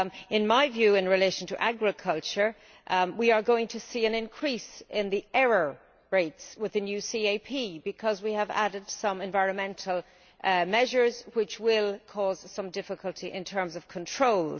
In my view, in relation to agriculture, we are going to see an increase in the error rates with the new CAP because we have added some environmental measures, which will cause some difficulty in terms of controls.